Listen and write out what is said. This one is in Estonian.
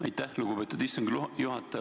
Aitäh, lugupeetud istungi juhataja!